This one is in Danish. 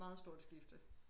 Meget stort skifte